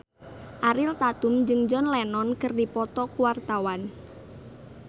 Ariel Tatum jeung John Lennon keur dipoto ku wartawan